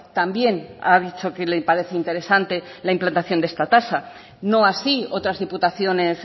también ha dicho que le parece interesante la implantación de esta tasa no así otras diputaciones